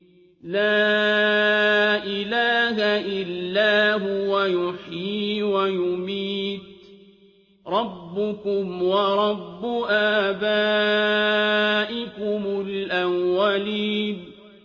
لَا إِلَٰهَ إِلَّا هُوَ يُحْيِي وَيُمِيتُ ۖ رَبُّكُمْ وَرَبُّ آبَائِكُمُ الْأَوَّلِينَ